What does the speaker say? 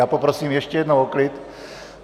Já poprosím ještě jednou o klid.